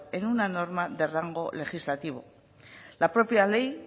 en una norma de rango legislativo la propia ley